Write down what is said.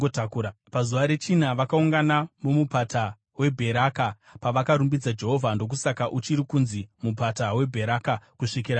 Pazuva rechina vakaungana muMupata weBheraka pavakarumbidza Jehovha. Ndokusaka uchiri kunzi Mupata weBheraka kusvikira nhasi.